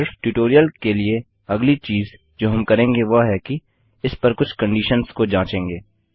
सिर्फ ट्यूटोरियल के लिए अगली चीज़ जो हम करेंगे वह है कि इस पर कुछ कंडीशंस को जांचेंगे